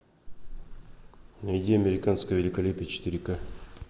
найди американское великолепие четыре ка